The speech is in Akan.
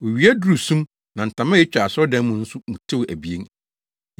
Owia duruu sum na ntama a etwa asɔredan no mu nso mu tewee abien.